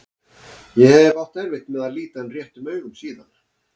Ég hef átt erfitt með að líta hann réttum augum síðan.